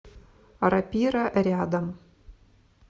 рапира рядом